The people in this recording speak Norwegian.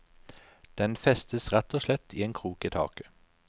Den festes rett og slett i en krok i taket.